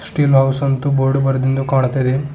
ತಿ ಹೌಸ್ ಅಂತು ಬೋರ್ಡ್ ಬರೆದಿಂದ್ದು ಕಾಣ್ತಾ ಇದೆ.